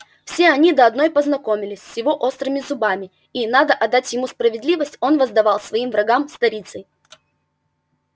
все они до одной познакомились с его острыми зубами и надо отдать ему справедливость он воздавал своим врагам сторицей